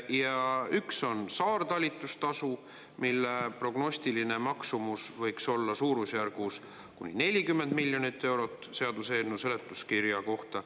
Ja üks on saartalitustasu, mille prognostiline maksumus võiks olla suurusjärgus kuni 40 miljonit eurot seaduseelnõu seletuskirja kohta.